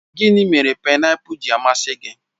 Gịnị mere painapul ji amasị gị?